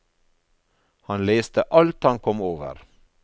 Han leste alt han kom over.